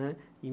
Né em